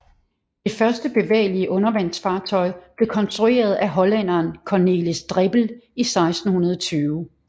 Det første bevægelige undervandsfartøj blev konstrueret af hollænderen Cornelis Drebbel i 1620